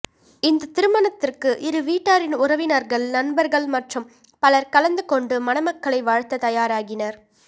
இந்த திருமணத்திற்கு இருவீட்டாரின் உறவினர்கள் நண்பர்கள் மற்றும் பலர் கலந்து கொண்டு மணமக்களை வாழ்த்த தயாராகினர்